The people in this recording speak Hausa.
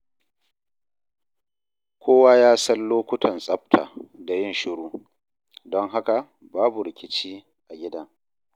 Kowa ya san lokutan tsafta da yin shiru, don haka babu rikici a gidan.